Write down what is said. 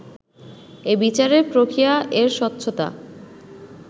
এই বিচারের প্রক্রিয়া এর স্বচ্ছতা